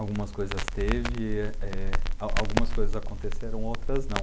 Algumas teve, eh, a algumas coisas aconteceram, outras não.